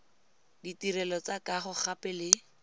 ditirelo tsa kago gape le